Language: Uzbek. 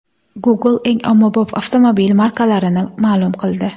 Google eng ommabop avtomobil markalarini ma’lum qildi.